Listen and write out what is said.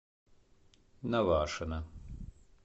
навашино